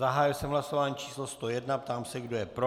Zahájil jsem hlasování číslo 101, ptám se, kdo je pro.